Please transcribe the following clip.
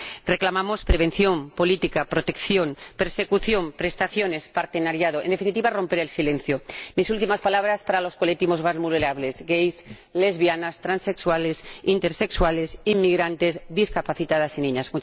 Reclamamos prevención, política, protección, persecución, prestaciones, partenariado, en definitiva, romper el silencio. Mis últimas palabras son para los colectivos más vulnerables gais, lesbianas, transexuales, intersexuales, inmigrantes, discapacitadas y niñas.